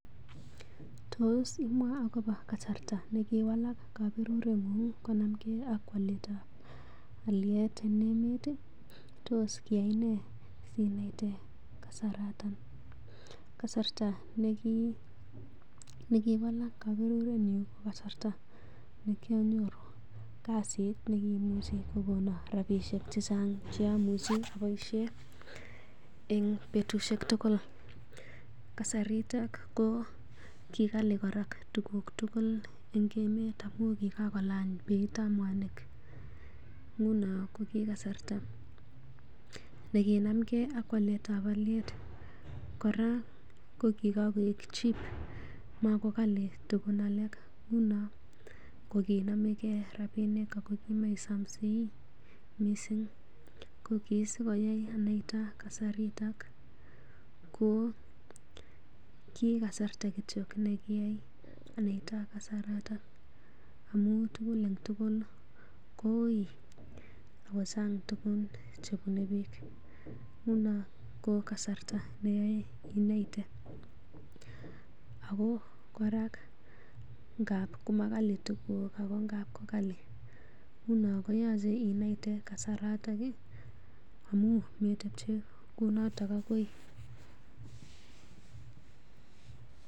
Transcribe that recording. Tos imwaa agobo kasarta ne kiwalak kabureng'ung konamgei ak waletab alyet en emet? Tos kiiyai nee si naite kasaratan? Kasarta ne kiwalak koberurenyun ko kasarta nekyonyoru kasit neimuche kogonon rabinik che chang che amuchi aboishen en betushek tugul. Kasarito ko ki kali kora tuguk tugul en emet amun kigakolany beitab mwanik. Nguno kogikasarta nekinamge ak waletab olyet. Kora ko kigakoik cheap magokali tuguk alak. Nguno koginomege rabinik ago kimoisomsei mising. Ko kit sikoyai anaita kasarito ko kikasarta kityog nekiyai anaita kasaraton amun tugul en tugul ko uiy ago chang tuguk chebune biik. Nguno ko kasarta neyoe inaite ago kora ngab komakali tuguk ago ngap ko kali nguno koyoche inaite kasarato amun metepche kounoto agoi.